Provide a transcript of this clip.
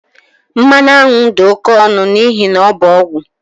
Mmanụ aṅụ dị oke ọnụ n'ihi na ọ bụ ọgwụ